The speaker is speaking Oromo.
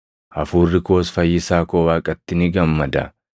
hafuurri koos fayyisaa koo Waaqatti ni gammada;